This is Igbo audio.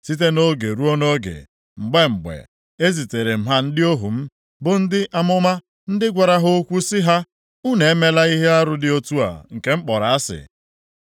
Site nʼoge ruo nʼoge, mgbe mgbe, eziteere m ha ndị ohu m, bụ ndị amụma, ndị gwara ha okwu sị ha, ‘Unu emela ihe arụ dị otu a nke m kpọrọ asị!’